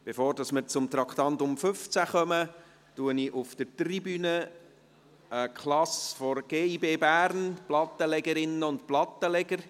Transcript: Bevor wir zum Traktandum 15 kommen, begrüsse ich auf der Tribüne die Klasse der Gibb Bern, die Plattenlegerinnen und Plattenleger.